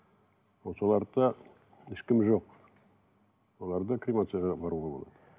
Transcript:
соларды да ешкімі жоқ соларды кремацияға апаруға болады